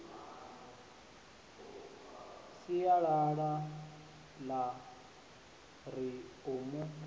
sinyalala ḽa ri u mu